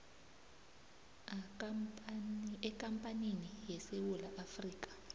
ekampanini yesewula afrika